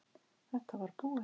Þetta var búið.